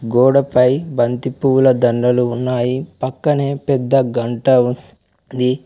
గోడపై బంతిపూల దండలు ఉన్నాయి పక్కనే పెద్ద గంట ఉన్ ది.